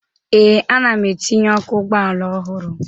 Ee, ana m etinye ọkụ ụgbọala ọhụrụ